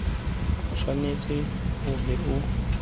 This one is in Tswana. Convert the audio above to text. o tshwanetse o be o